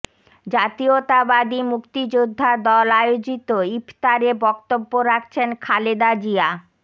জাতীয়তাবাদী মুক্তিযোদ্ধা দল আয়োজিত ইফতারে বক্তব্য রাখছেন খালেদা জিয়া